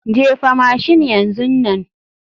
Jefa mashin yanzu nan.